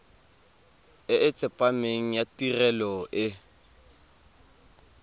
e tsepameng ya tirelo e